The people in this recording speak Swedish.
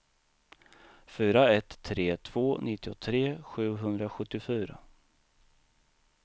fyra ett tre två nittiotre sjuhundrasjuttiofyra